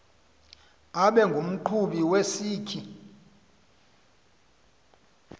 abe ngumqhubi wesikhi